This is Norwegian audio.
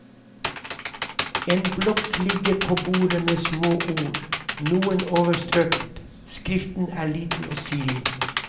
En blokk ligger på bordet med små ord, noen overstrøket, skriften er liten og sirlig.